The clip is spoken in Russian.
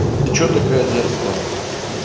ты че такая дерзкая